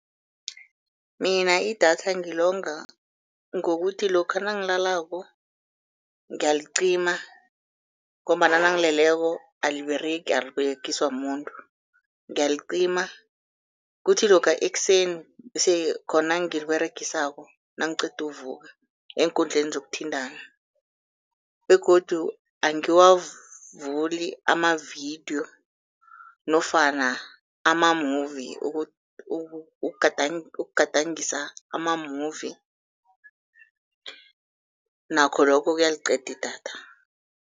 Mina idatha ngilonga ngokuthi lokha nangilalako ngiyalicima ngombana nangileleko aliberegi, aliberegiswa mumuntu Ngiyalicima, kuthi lokha ekuseni bese khona ngiliberegisako nangiqeda ukuvuka eenkundleni zokuthintana begodu angiwavuli amavidiyo nofana ama-movie. Ukugadangisa ama-movie nakho lokho kuyaliqeda idatha.